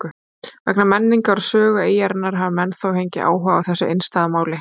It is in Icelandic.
Vegna menningar og sögu eyjarinnar hafa menn þó fengið áhuga á þessu einstæða máli.